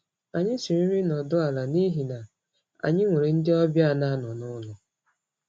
Anyị siri nri nọdụ ala n’ihi na anyị nwere ndị ọbịa na-anọ n’ụlọ.